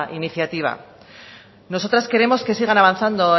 iniciativa nosotras queremos que sigan avanzando